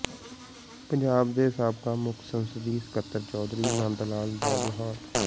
ਪੰਜਾਬ ਦੇ ਸਾਬਕਾ ਮੁੱਖ ਸੰਸਦੀ ਸਕੱਤਰ ਚੌਧਰੀ ਨੰਦ ਲਾਲ ਦਾ ਦਿਹਾਂਤ